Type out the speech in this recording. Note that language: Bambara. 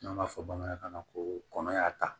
N'an b'a fɔ bamanankan na ko kɔnɔ y'a ta